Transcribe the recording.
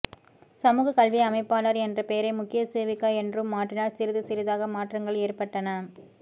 சமூகக் கல்வி அமைப்பாளார் என்ற பெயரை முக்கிய சேவிக்கா என்றும் மாற்றினர் சிறிது சிறிதாக மாற்றங்கள் ஏற்பட்டன